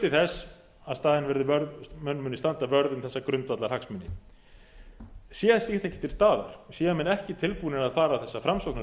þess að menn muni standa vörð um þessa grundvallarhagsmuni sé þetta ekki til staðar séu menn ekki tilbúnir að fara þessa framsóknarleið